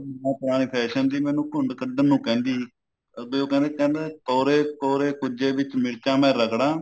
ਮਾਂ ਪੁਰਾਣੇ fashion ਦੀ ਮੈਨੂੰ ਘੁੰਡ ਕੱਢਣ ਨੂੰ ਕਹਿੰਦੀ ਵੀ ਉਹ ਕਹਿੰਦੇ ਕਹਿੰਦੇ ਕੋਰੇ ਕੋਰੇ ਕੁਝੇ ਵਿੱਚ ਮਿਰਚਾ ਮੈਂ ਰਗੜਾ